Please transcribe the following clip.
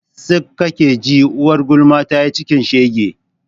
tsik kake ji, uwar gulma tayi cikin shege